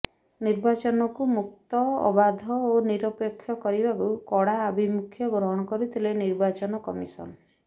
ନିର୍ବାଚନକୁ ମୁକ୍ତ ଅବାଧ ଓ ନିରପେକ୍ଷ କରିବାକୁ କଡ଼ା ଆଭିମୁଖ୍ୟ ଗ୍ରହଣ କରିଥିଲେ ନିର୍ବାଚନ କମିଶନ